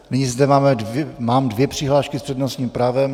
Nyní zde mám dvě přihlášky s přednostním právem.